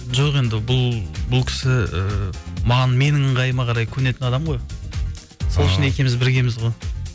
жоқ енді бұл кісі ііі менің ыңғайыма қарай көнетін адам ғой сол үшін екеуіміз біргеміз ғой